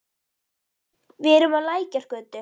Við erum á Lækjargötu.